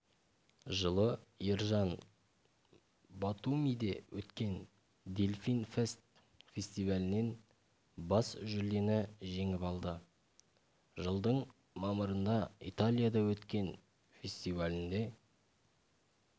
жылы ержан батумиде өткен дельфин фест фестивалінен бас жүлдені жеңіп алды жылдың мамырында италияда өткен фестивалінде